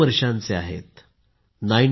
T Srinivasacharya Swami ji 92 वर्षाचे आहेत